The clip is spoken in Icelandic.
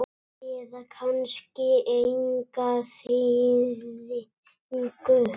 eða kannski enga þýðingu?